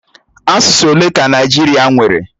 Asụsụ ole ka Naịjirịa nwere?